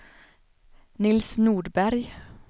Nils Norberg